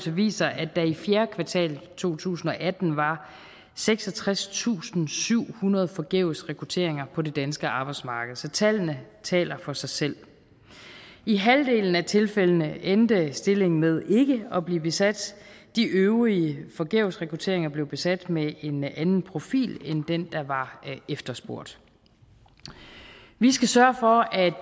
viser at der i fjerde kvartal to tusind og atten var seksogtredstusinde og syvhundrede forgæves rekrutteringer på det danske arbejdsmarked så tallene taler for sig selv i halvdelen af tilfældene endte stillingen med ikke at blive besat de øvrige forgæves rekrutteringer blev besat med en anden profil end den der var efterspurgt vi skal sørge for at